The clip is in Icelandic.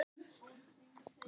Ég er að hætta búskap.